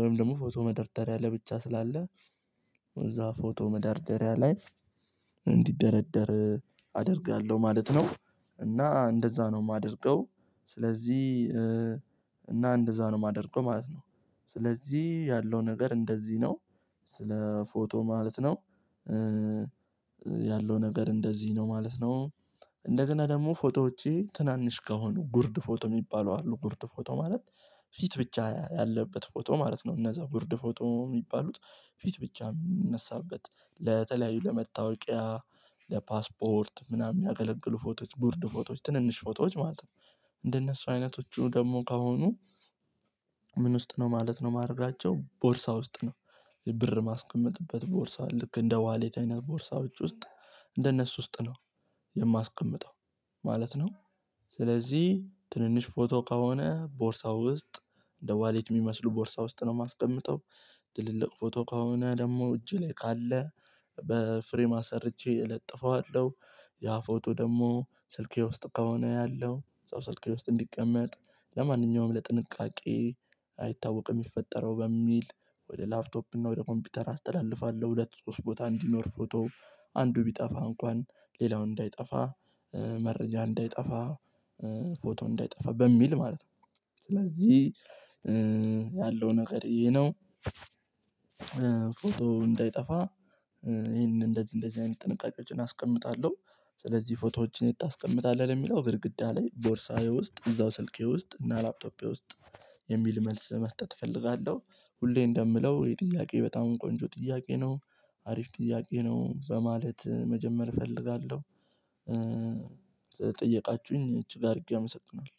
ወይም ደግሞ ፎቶ መደርደሪያ ላይ ብቻ ስላለ እዛ ፎቶ መደርደሪያ ላይ እንዲደረደር አደርጋለሁ ማለት ነው። እና እንደዛ ነው የማደርገው። ስለዚህ እና እንደዛ ነው የማደርገው ማለት ነው። ስለዚህ ያለው ነገር እንደዚህ ነው። ስለ ፎቶ ማለት ነው። ያለው ነገር እንደዚህ ነው ማለት ነው። እንደገና ደግሞ ፎቶዎቼ ትናንሽ ከሆኑ ጉርድ ፎቶ የሚባሉ አሉ ጉርድ ፎቶ ማለት ፊት ብቻ ያለበት ፎቶ ማለት ነው እነዛ ጉርድ ፎቶ የሚባሉት ፊት ብቻ የምንነሳበት ለተለያዩ ለመታወቂያ ለፓስፖርት ምናምን የሚያገለግሉ ፎቶዎች ጉርድ ፎቶዎች ትንንሽ ፎቶዎች ማለት ነው። እንደነሱ አይነቶቹ ደግሞ ከሆኑ ምን ውስጥ ነው ማለት ነው ማድረጋቸው ቦርሳ ውስጥ ነው። ብር ማስቀመጥበት ቦርሳ ልክ እንደ ዋሌት አይነት ቦርሳዎች ውስጥ እንደነሱ ውስጥ ነው የማስቀምጠው ማለት ነው። ስለዚህ ትንንሽ ፎቶ ከሆነ ቦርሳው ውስጥ እንደ ዋሌት የሚመስሉ ቦርሳው ውስጥ ነው የማስቀምጠው። ትልልቅ ፎቶ ከሆነ ደግሞ እጄ ላይ ካለ በፍሬም አሰርቼ እለጥፈዋለሁ። ያ ፎቶ ደግሞ ስልኬ ውስጥ ከሆነ ያለው እዛው ስልኬ ውስጥ እንዲቀመጥ ለማንኛውም ለጥንቃቄ አይታወቅም የሚፈጠረው በሚል ወደ ላፕቶፕ እና ወደ ኮምፒውተር አስተላልፋለሁ። ሁለት ሶስት ቦታ እንዲኖር ፎቶ አንዱ ቢጠፋ እንኳን ሌላው እንዳይጠፋ መረጃ እንዳይጠፋ ፎቶ እንዳይጠፋ በሚል ማለት ነው። ስለዚህ ያለው ነገር ይሄ ነው። ፎቶ እንዳይጠፋ ይሄንን እንደዚህ እንደዚህ አይነት ጥንቃቄዎችን አስቀምጣለሁ። ስለዚህ ፎቶዎችን የት ታስቀምጣለ ለሚለው ግድግዳ ላይ ቦርሳዬ ውስጥ እዛው ስልኬ ውስጥ እና ላፕቶፔ ውስጥ የሚል መልስ መስጠት እፈልጋለሁ። ሁሌ እንደምለው ይሄ ጥያቄ በጣም ቆንጆ ጥያቄ ነው። አሪፍ ጥያቄ ነው በማለት መጀመር እፈልጋለሁ። ስለጠየቃችሁኝ እጅግ አድርጌ አመሰግናለሁ።